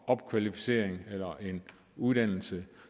opkvalificering eller en uddannelse